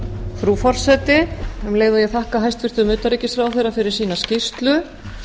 frú forseti um leið og ég þakka hæstvirtum utanríkisráðherra fyrir sína skýrslu